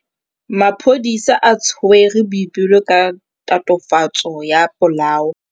Maphodisa a tshwere Boipelo ka tatofatsô ya polaô.